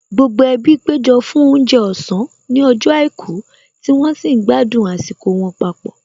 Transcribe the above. Gbogbo ẹbí péjọ fún oúnjẹ ọ̀sán ní ọjọ́ àìkú tí wọ́n sì ń gbádùn àsìkò wọn papọ̀